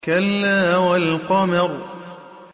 كَلَّا وَالْقَمَرِ